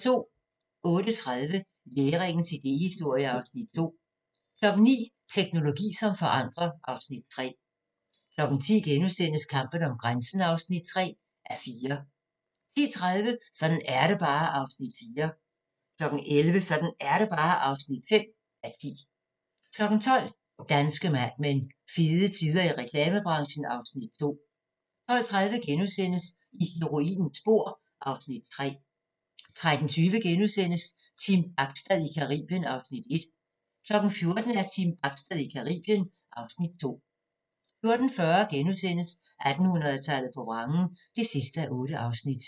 08:30: Læringens idéhistorie (Afs. 3) 09:00: Teknologi som forandrer (Afs. 3) 10:00: Kampen om grænsen (3:4)* 10:30: Sådan er det bare (4:10) 11:00: Sådan er det bare (5:10) 12:00: Danske Mad Men: Fede tider i reklamebranchen (Afs. 2) 12:30: I heroinens spor (Afs. 3)* 13:20: Team Bachstad i Caribien (Afs. 1)* 14:00: Team Bachstad i Caribien (Afs. 2) 14:40: 1800-tallet på vrangen (8:8)*